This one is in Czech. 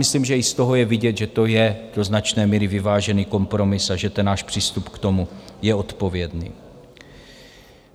Myslím, že i z toho je vidět, že to je do značné míry vyvážený kompromis a že ten náš přístup k tomu je odpovědný.